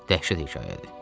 Dəhşət hekayədir.